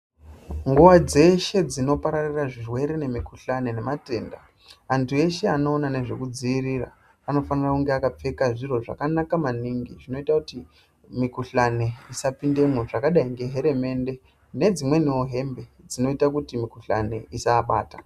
Nguwa dzeshe dzinopararira zvirwere nemikuhlane nematenda, antu eshe anoona nezvekudziirira anofanira kunge akapfeka zviro zvakanaka maningi zvinoita kuti mikuhlani isapindemwo zvakadai ngeheremende nedzimweniwo hembe dzinoita kuti mikuhlani isaabata.